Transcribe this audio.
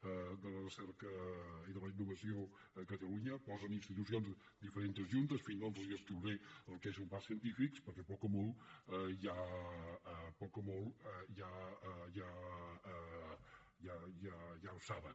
i de la innovació a catalunya posen institucions diferents juntes en fi no els descriuré el que és un parc científic perquè poc o molt ja ho saben